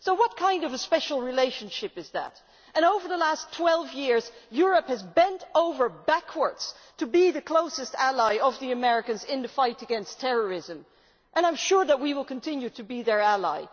So what kind of a special relationship is that? Over the last twelve years, Europe has bent over backwards to be the closest ally of the Americans in the fight against terrorism and I am sure we will continue to be their ally.